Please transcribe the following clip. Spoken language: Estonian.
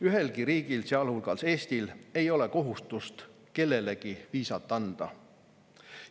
Ühelgi riigil, sealhulgas Eestil, ei ole kohustust kellelegi viisat anda.